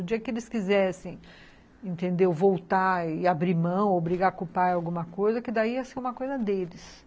O dia que eles quisessem, entendeu, voltar e abrir mão ou brigar com o pai ou alguma coisa, que daí ia ser uma coisa deles.